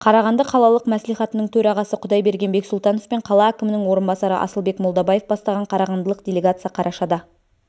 қарағанды қалалық мәслихатының төрағасы құдайбарген бексұлтанов пен қала әкімінің орынбасары асылбек молдабаев бастаған қарағандылық делегация қарашада